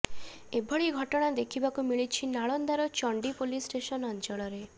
ଏଭଳି ଘଟଣା ଦେଖିବାକୁ ମିଳିଛି ନାଲନ୍ଦାର ଚଣ୍ଡି ପୋଲିସ ଷ୍ଟେସନ ଅଞ୍ଚଳରେ